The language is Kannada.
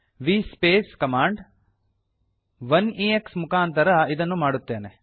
ವಿಎಸ್ಪೇಸ್ ಕಮಾಂಡ್ 1ಎಕ್ಸ್ ಮುಖಾಂತರ ಇದನ್ನು ಮಾಡುತ್ತೇನೆ